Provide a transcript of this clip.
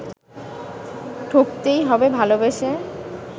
ঠকতেই হবে ভালবেসে